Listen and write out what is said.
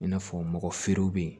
I n'a fɔ mɔgɔ feerew bɛ yen